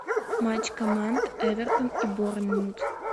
матч команд эвертон и борнмут